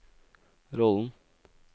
rollen